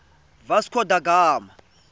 vasco da gama